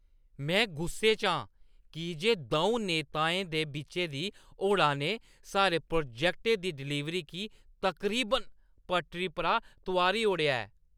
में गुस्से च आं की जे द'ऊं नेताएं दे बिच्चे दी होड़ा ने साढ़े प्रोजैक्टै दी डलीवरी गी तकरीबन पटड़ी परा तोआरी ओड़ेआ ऐ।